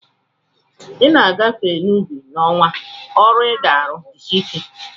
Ị na-agafe n'ubi n'ọnwa ọrụ, ị ga-anụ "jisie ike"